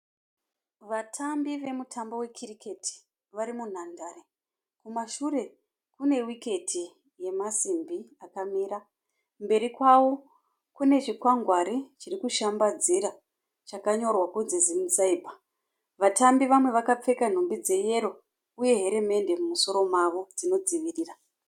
Vatambi vemutambo we cricket vari munhandare. Kumashure kune wiketi yemasimbi akamira. Mberi kwavo kune chikwangwari chiri kushambadzira chakanyorwa kunzi Zim Cyber. Vatambi vamwe vakapfeka hembe dzeyero uye herimeti inodzivirira.